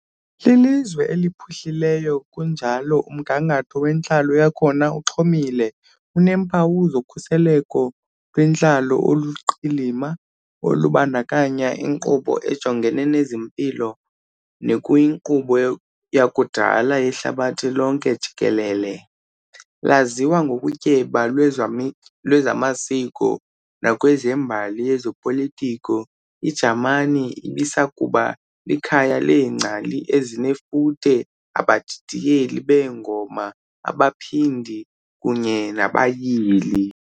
Lilizwe eliphuhlileyo kunjalo umgangatho wentlalo yakhona uxhomile, uneempawu zokhuseleko lwentalo oluluqilima olubandakanya inkqubo ejongene nezempilo nekuyinkqubo yakudala yehlabathi lonke jikelele. Laziwa ngokutyeba lwezami lwezamasiko nakwezembali yezopolitiko, iJamani ibisakuba likhaya leengcali ezinefuthe, abadidiyeli beengoma, abaphandi, kunye nabayili.